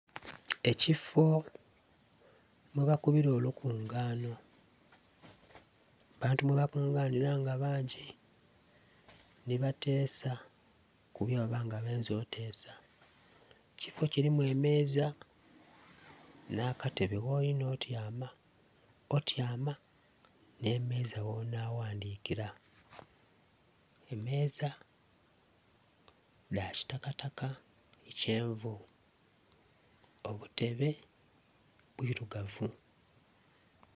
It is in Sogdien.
Ekifo mwe bakubira olukunganho abantu mwe bakunganhira nga bangi nhi batesa ku bwebaba nga benze okutesa, ekifo kilimu emeeza nha katebe gholinga okutyama, otyama nhe menza ghona ghandhikila. Emeeza dha kitakataka nho kyenvu obutebe bwirugavu.